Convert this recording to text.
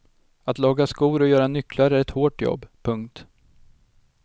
Att laga skor och göra nycklar är ett hårt jobb. punkt